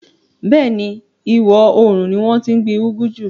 Bẹ́ẹ̀ni, ìwọòrùn ni wọ́n tí n gbin úgú jù